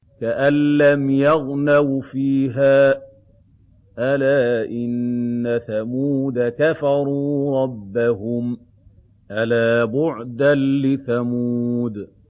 كَأَن لَّمْ يَغْنَوْا فِيهَا ۗ أَلَا إِنَّ ثَمُودَ كَفَرُوا رَبَّهُمْ ۗ أَلَا بُعْدًا لِّثَمُودَ